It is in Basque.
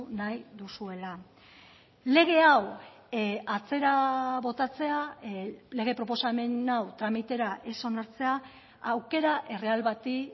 nahi duzuela lege hau atzera botatzea lege proposamen hau tramitera ez onartzea aukera erreal bati